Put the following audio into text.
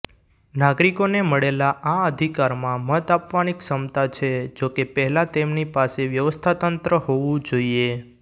નાગરિકોને મળેલા આ અધિકારમાં મત આપવાની ક્ષમતા છે જોકે પહેલા તેમની પાસે વ્યવસ્થાતંત્ર હોવું જોઈએ